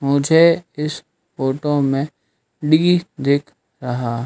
मुझे इस फोटो में दिख रहा--